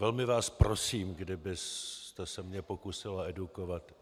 Velmi vás prosím, kdybyste se mě pokusila edukovat.